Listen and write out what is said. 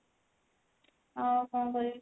ଆଉ କଣ କରିବି